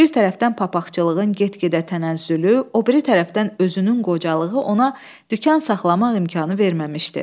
Bir tərəfdən papaqçılığın get-gedə tənəzzülü, o biri tərəfdən özünün qocalığı ona dükan saxlamaq imkanı verməmişdi.